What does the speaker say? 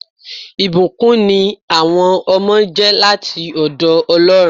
ìbùkún ní àwọn ọmọ jẹ́ láti ọ̀dọ̀ Ọlọ́run